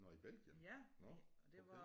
Nåh i Belgien nåh okay